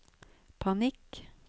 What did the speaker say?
panikk